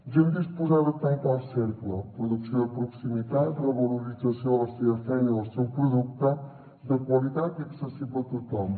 gent disposada a tancar el cercle producció de proximitat revalorització de la seva feina i el seu producte de qualitat i accessible a tothom